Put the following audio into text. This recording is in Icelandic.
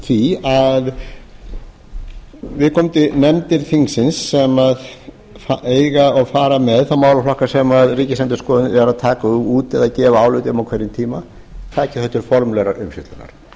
í því að viðkomandi nefndir þingsins sem eiga og fara með þá málaflokka sem ríkisendurskoðun er að taka út eða gefa álit um á hverjum tíma taki þau til formlegrar umfjöllunar